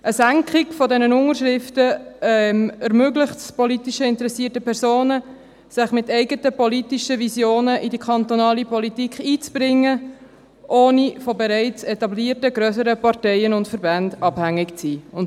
Eine Senkung der Unterschriftenzahl ermöglicht es politisch interessierten Personen, sich mit eigenen politischen Visionen in die kantonale Politik einzubringen, ohne von bereits etablierten grösseren Parteien und Verbänden abhängig zu sein.